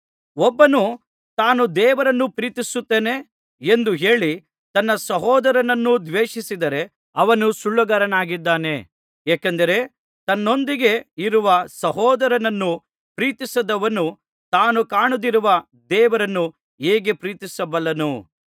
ಒಬ್ಬನು ತಾನು ದೇವರನ್ನು ಪ್ರೀತಿಸುತ್ತೇನೆ ಎಂದು ಹೇಳಿ ತನ್ನ ಸಹೋದರನನ್ನು ದ್ವೇಷಿಸಿದರೆ ಅವನು ಸುಳ್ಳುಗಾರನಾಗಿದ್ದಾನೆ ಏಕೆಂದರೆ ತನ್ನೊಂದಿಗೆ ಇರುವ ಸಹೋದರನನ್ನು ಪ್ರೀತಿಸದವನು ತಾನು ಕಾಣದಿರುವ ದೇವರನ್ನು ಹೇಗೆ ಪ್ರೀತಿಸಬಲ್ಲನು